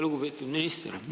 Lugupeetud minister!